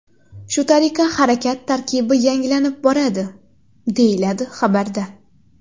Shu tariqa harakat tarkibi yangilanib boradi”, deyiladi xabarda.